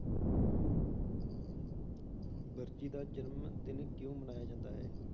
ਵਰਜੀ ਦਾ ਜਨਮ ਦਿਨ ਕਿਉਂ ਮਨਾਇਆ ਜਾਂਦਾ ਹੈ?